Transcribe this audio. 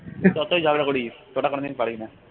যতই ঝগড়া করিস তোরা কোনোদিন পারবি না